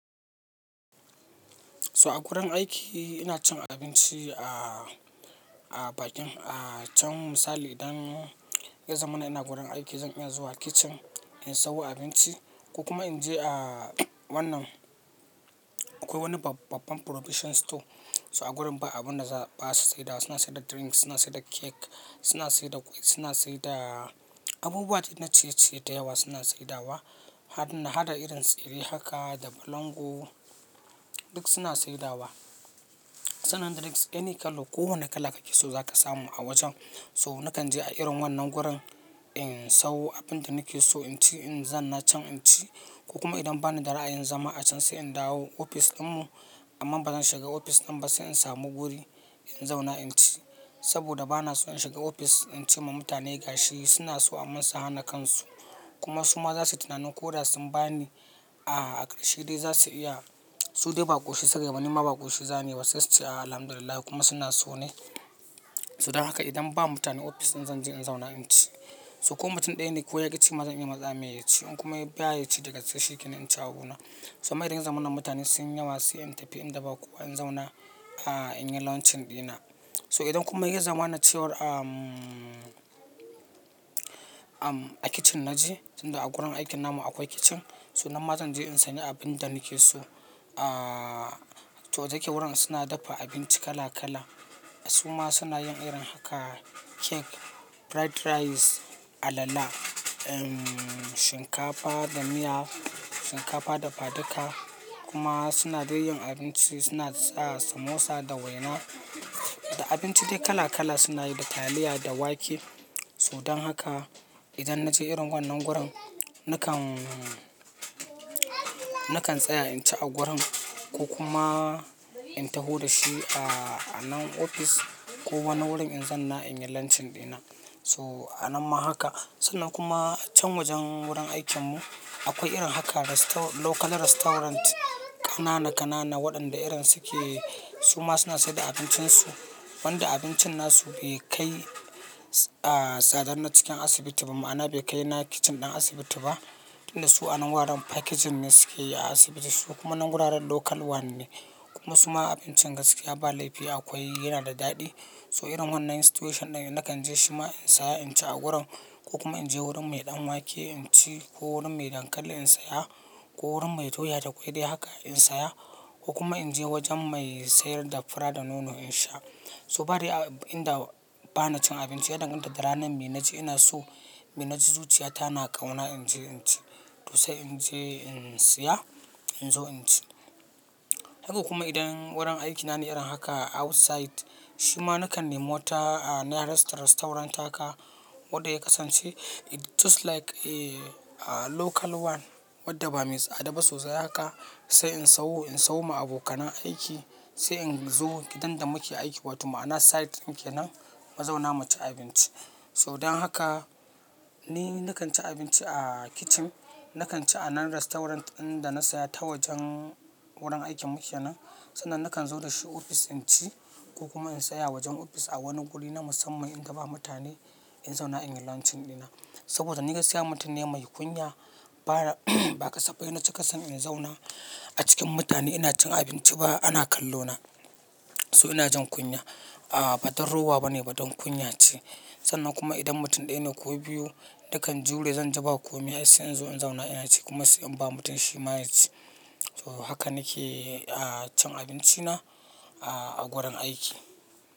To a gurin aiki ina cin abinci a, a bakin, a can misali idan ya zama ina gurin aiki zan iya zuwa kitchen in sayo abinci ko kuma in je a wannan akwai wani babban provision store. To a gurin ba abin da ba su sayar da, suna saida da drinks, suna saida da cake, suna saida da cake, suna saida abubuwa dai na ciye-ciye da yawa suna sayar da wa. Hada irin tsire haka da balangu duk suna sayar da wa. Sannan drinks, any colour ko wane kala kake so zaka samu a wajen. So nakan je a irin wannan gurin in sawo abinda na ke so in ci in zan na ci ci ko kuma idan bani da ra'ayin zama a can sai in dawo ofis ɗinmu amma bazan shiga ofis ɗin ba sai in samu guri in zauna in ci saboda bana so in shiga ofis in ci ma mutane gashi. Suna so amma su hana kansu kuma su ma za su tunanin ko da sun ba ni a ƙarshe dai za su iya su dai baƙo shi sai gaibanin ma baƙo shi zane wasu yisti alhamdulillah kuma suna so ne. Sadan haka idan ba mutane ofis ɗin zan je in zauna in ci. To ko mutum ɗaya ne ko yaƙi cima zan iya matsa mai yaci in kuma ya biya yaci da gaske in ci a buna. To ma idan zamana mutane sun yawa sai in tafi in daba kowa in zauna a, in yi launching ɗina. So idan kuma ya zama na ce war am, am, a kitchen na ji tunda a gurin aikin namu akwai kitchen. To nanma zanje in sani abin da na ke so. Ah, to dake wurin suna dafa abinci kala kala. Su ma suna yin irin haka cake, fried rice, alala, shinkafa da miya, shinkafa da fadika kuma suna dai yin abinci suna sa samosa da waina da abinci dai kala kala suna yi da taliya da wake. Todan haka idan na je irin wannan gurin nakan, nakan tsaya in ci a gurin ko kuma in taho da shi a nan ofis ko wani wurin in zan na in yi launching ɗina. So a nan ma haka. Sannan kuma can wajen wurin aikin mu akwai irin haka restaurant, local restaurant kanana kanana waɗanda irin suke suma suna sai da abincin su wanda abincin na su bai kai a tsadar na cikin asibiti ba ma'ana bai kai na kitchen ɗin asibiti ba. Tunda su a nan wuraren packaging ne suke yi a asibiti su kuma nan wuraren local one ne kuma suma abincin gaskiya ba laifi akwai yana da daɗi. To irin wannan situation ɗin nakan je shi ma in tsaya in ci a gurin ko kuma in je wurin mai ɗan wake in ci ko wurin mai dankali in saya ko wurin mai doya da ƙwai dai haka in saya ko kuma in je wajen mai sayar da fura da nono in sha. To badai a inda bana cin abinci idan ita da ranan bai na ci ina so, bai na ci zuciya ta na kauna in je in ci to sai in je in saya in zo in ci. Haka kuma idan wurin aikina ne irin haka outside shi ma nakan nemi wata nearest restaurant haka waɗanda ya kasance it's just like a local one waɗanda ba mai tsada ba sosai haka sai in sawo, in sawo ma abokan aiki sai in zo gidan da muke aiki wato ma'ana site ɗin kenan mu zauna mu ci abinci. Sadan haka ni nakan ci abinci a kitchen, nakan ci a nan restaurant ɗin dana saya ta wajen wurin aikin muke nan sannan nakan zo da shi ofis in ci ko kuma in saya wajen ofis a wani guri na musamman in gaba mutane in zauna in yi launching ɗina saboda ni gaskiya mutum ne mai kunya ba, ba ƙasaɓɓai na cika son in zauna a cikin mutane ina cin abinci ba ana kallo na. So ina jan kunya a ba don rowa bane ba don kunya ce. Sannan kuma idan mutum ɗaya ne ko biyu nakan je wurin zanji ba komai sai in zo in zauna ina ci kuma sai in ba mutum shi ma ya ci. To haka nake a cin abinci na a gurin aiki.